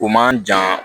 O man jan